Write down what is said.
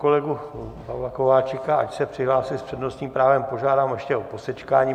Kolegu Pavla Kováčika, ač se přihlásil s přednostním právem, požádám ještě o posečkání.